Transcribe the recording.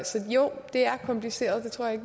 så jo det er kompliceret det tror jeg